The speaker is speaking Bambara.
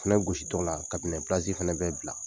Fɛnɛ gositɔla kabinɛ plasi fɛnɛ bɛ bila.